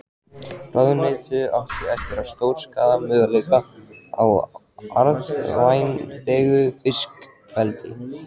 Ráðuneytið átti eftir að stórskaða möguleika á arðvænlegu fiskeldi.